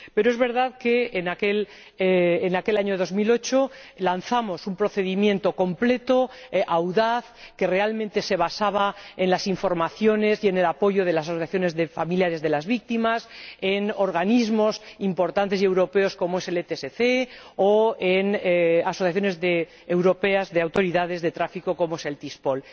Pero es verdad que, en aquel año 2008, lanzamos un procedimiento completo, audaz, que realmente se basaba en las informaciones y en el apoyo de las asociaciones de familiares de las víctimas, en organismos importantes y europeos, como el ETSC, o en asociaciones europeas de autoridades de tráfico, como Tispol.